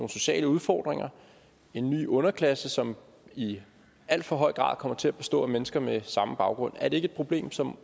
sociale udfordringer en ny underklasse som i alt for høj grad kommer til at bestå af mennesker med samme baggrund er det ikke et problem som